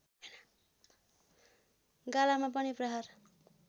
गालामा पनि प्रहार